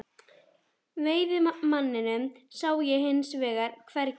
Veiðimanninn sá ég hins vegar hvergi.